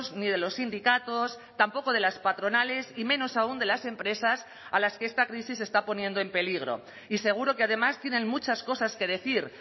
ni de los sindicatos tampoco de las patronales y menos aún de las empresas a las que esta crisis está poniendo en peligro y seguro que además tienen muchas cosas que decir